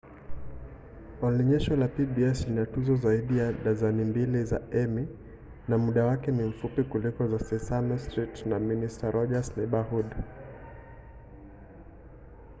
onyesho la pbs lina tuzo zaidi ya dazeni mbili za emmy na muda wake ni mfupi kuliko tu sesame street na mister roger's neighborhood